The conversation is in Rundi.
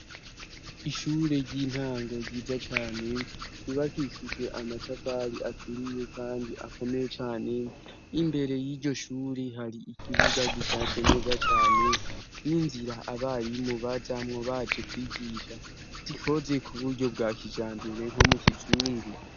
Ishure ry'intango ryiza cane ryubakishijwe amatafari aturiye kandi akomeye cane imbere y'iryo shure hari ikibuga gishashe neza cane n'inzira abarimu bazamwo baje kwigisha; zikoze kuburyo bwa kijambere nko mu kizungu.